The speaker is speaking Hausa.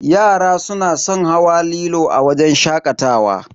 Yara suna san hawa lilo a wajen shakatawa.